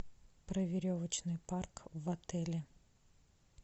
про веревочный парк в отеле